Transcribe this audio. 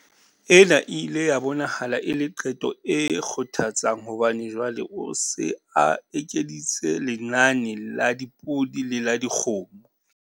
Ena e ile ya bonahala e le qeto e kgothatsang hobane jwale o se a ekeditse lenane la dipodi le la dikgomo.